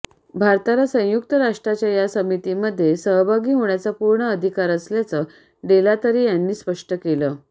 भारताला संयुक्त राष्ट्राच्या या समितीमध्ये सहभागी होण्याचा पूर्ण अधिकार असल्याचं डेलातरे यांनी स्पष्ट केलं